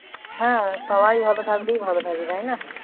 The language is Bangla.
হ্যাঁ সবাই ভালো থাকলেই ভালো না